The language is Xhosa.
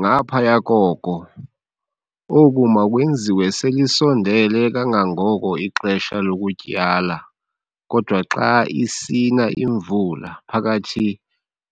Ngaphaya koko, oku makwenziwe selisondele kangangoko ixesha lokutyala kodwa xa isina imvula phakathi